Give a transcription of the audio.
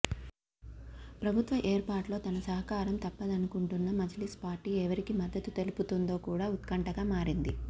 ప్రభుత్వ ఏర్పాటులో తమ సహకారం తప్పదనుకుంటున్న మజ్లిస్ పార్టీ ఎవరికి మద్దత్తు తెలుపుతుందో కూడా ఉత్కంఠగా మారింది